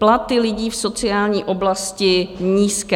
Platy lidí v sociální oblasti - nízké.